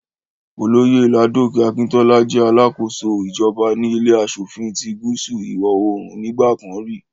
Olóyè Ládòkè Akintọ́lá jẹ́ alákóso ìjọba ní ilé aṣòfin ti gúúsù ìwọ̀-oòrùn nígbà kan rí